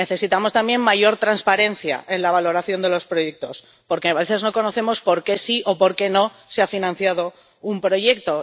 Necesitamos también mayor transparencia en la valoración de los proyectos, porque a veces no conocemos por qué sí o por qué no se ha financiado un proyecto.